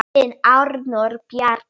Þinn Arnór Bjarki.